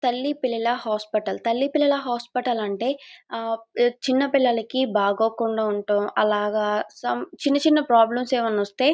తల్లి పిల్లల హాస్పటల్ . తల్లి పిల్లల హాస్పెటల్ అంటే ఆ చిన్న పిల్లలికి బాగోకుండా ఉండటం అలాగా సం చిన్న చిన్న ప్రాబ్లమ్స్ ఏమైనా వస్తే--